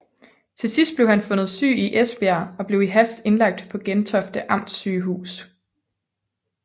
Til sidst blev han fundet syg i Esbjerg og blev i hast indlagt på Gentofte Amtssygehus